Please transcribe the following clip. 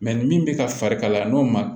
ni min bɛ ka fari kalaya n'o ma